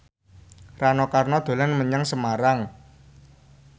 Rano Karno dolan menyang Semarang